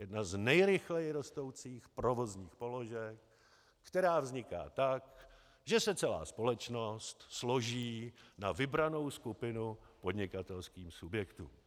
Jedna z nejrychleji rostoucích provozních položek, která vzniká tak, že se celá společnost složí na vybranou skupinu podnikatelských subjektů.